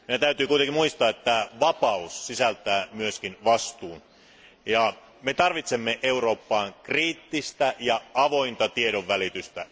Meidän täytyy kuitenkin muistaa, että vapaus sisältää myös vastuun ja me tarvitsemme Eurooppaan kriittistä ja avointa tiedonvälitystä.